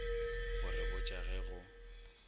go re botša ge go